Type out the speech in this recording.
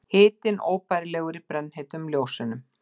Hitinn óbærilegur í brennheitum ljósunum.